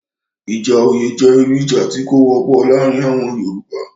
Ìjà oyè jẹ́ irú ìjà tí kò wọ́pọ̀ laarin àwọn Yoruba